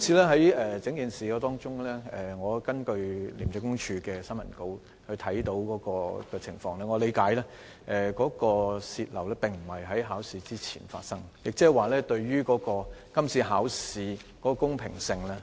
在今次的事件中，我從廉政公署的新聞稿理解到，試題外泄並非在考試之前發生，即是說並不影響今次考試的公平性。